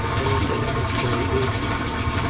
konotelela motheo o o adilweng